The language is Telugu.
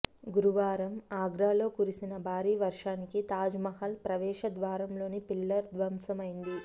గురువారం ఆగ్రా లో కురిసిన భారీ వర్షానికి తాజ్మహల్ ప్రవేశ ద్వారంలోని పిల్లర్ ధ్వంసమైంది